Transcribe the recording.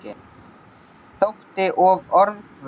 Þótti of orðhvöt.